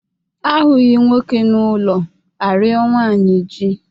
A hụghị nwoke n'ụlọ, a rịọ nwaanyị ji.